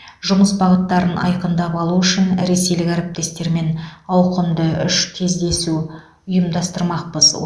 жұмыс бағыттарын айқындап алу үшін ресейлік әріптестермен ауқымды үш кездесу ұйымдастырмақпыз